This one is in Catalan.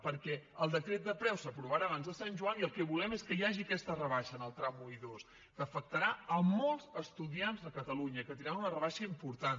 perquè el decret de preus s’aprovarà abans de sant joan i el que volem és que hi hagi aquesta rebaixa en els trams un i dos que afectarà molts estudiants de catalunya que tindran una rebaixa important